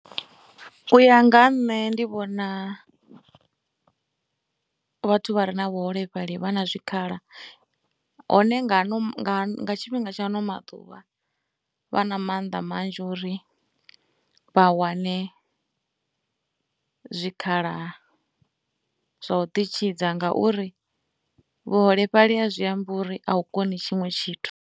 U ya nga ha nṋe ndi vhona vhathu vha re na vhuholefhali vha na zwikhala hone nga tshifhinga tsha ano maḓuvha vha na mannḓa manzhi uri vha wane zwikhala zwa u ḓi tshidza ngauri vhuholefhali a zwi ambi uri a u koni tshiṅwe tshithu.